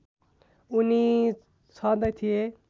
उनी छँदै थिए